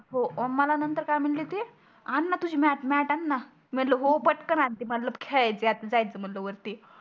हो मला नंतर काय म्हणले ते आणा तुझी मॅट मॅट आणा मी म्हणल हो पटकन आणते मी म्हणल खेळायचं आहे आता ज्याच म्हणल वरती